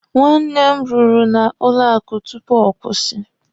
Nwanne m rụrụ na banki tupu ọ kwụsị.